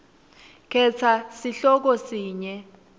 khetsa sihloko sinye